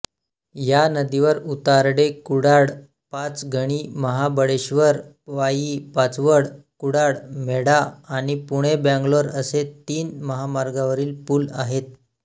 या नदीवर उडतारेकुडाळपाचगणीमहाबळेश्वर वाई पाचवड कुडाळ मेढा आणि पुणेबेंगलोर असे तीन महामार्गावरील पुल आहेत